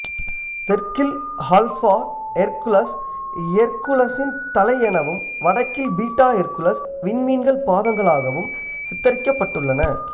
தெற்கில் alpha Hercules ஹெர்குலசின் தலை எனவும் வடக்கில் பீட்டா ஹெர்குலஸ் விண்மீன்கள் பாதங்களாகவும் சித்தரிக்கப்பட்டுள்ளன